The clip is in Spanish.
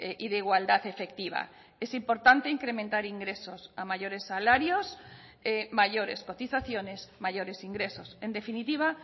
y de igualdad efectiva es importante incrementar ingresos a mayores salarios mayores cotizaciones mayores ingresos en definitiva